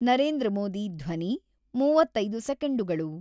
ನರೇಂದ್ರ ಮೋದಿ ಧ್ವನಿ ಮೂವತ್ತೈದು ಸೆಕೆಂಡುಗಳು